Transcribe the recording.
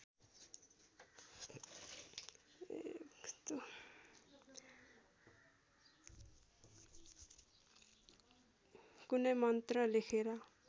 कुनै मन्त्र लेखेर